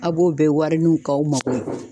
A b'o bɛɛ wari nu k'aw mago ye